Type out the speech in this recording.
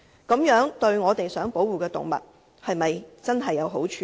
這樣對我們想保護的動物是否有好處呢？